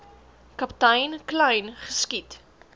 kaptein kleyn geskiet